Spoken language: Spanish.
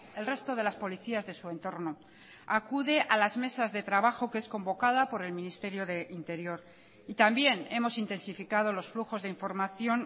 el resto de las policías de su entorno acude a las mesas de trabajo que es convocada por el ministerio de interior y también hemos intensificado los flujos de información